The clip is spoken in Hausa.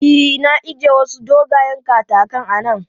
E, na ije wasu dogayen katakan a nan.